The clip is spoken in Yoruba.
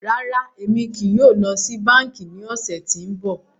Rárá, Emi kii yóò lọ si banki ni ọsẹ ti n bọ.